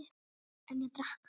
En ég drakk.